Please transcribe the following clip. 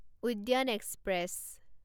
উদ্যান এক্সপ্ৰেছ